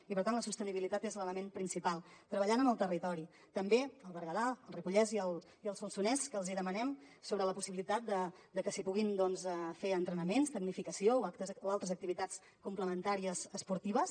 i per tant la sostenibilitat és l’element principal treballant amb el territori també el berguedà el ripollès i el solsonès que els hi demanem sobre la possibilitat de que s’hi puguin fer entrenaments tecnificació o altres activitats complementàries esportives